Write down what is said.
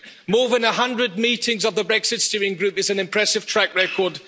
More than 100 meetings of the Brexit Steering Group is an impressive track record.